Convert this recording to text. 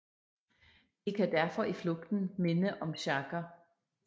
De kan derfor i flugten minde om sjagger